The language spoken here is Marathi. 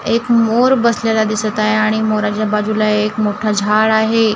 एक मोर बसलेला दिसतं आहे आणि मोराच्या बाजूला एक मोठा झाडं आहे.